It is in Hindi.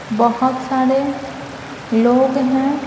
बोहोत सारे लोग हैं ।